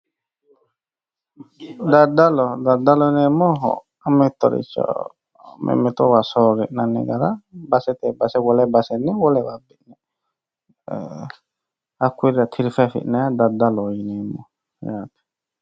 Daddallo, daddalo yineemmohu mittoricho mimmittoho soori'nanni gara baseteni base, wole baseni wole base hakkuyira tirife affi'nanniha daddalloho yineemmo yaate.